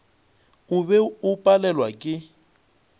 o be o palelwa ke